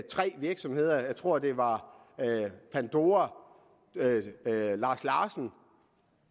tre virksomheder jeg tror det var pandora lars larsen og